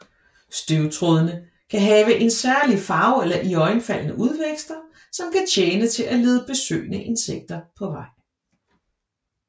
Støvtrådene kan have en særlig farve eller iøjnefaldende udvækster som kan tjene til at lede besøgende insekter på vej